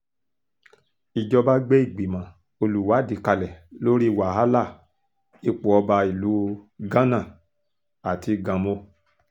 ìjọba gbé ìgbìmọ̀ olùwádìí kalẹ̀ lórí wàhálà ipò ọba ìlú gánà àti ganmo